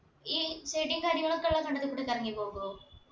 ഈ ചെടിയും കാര്യങ്ങളൊക്കെ ഉള്ള കണ്ടത്തി കൂടക്ക് ഇറങ്ങിപ്പോകോ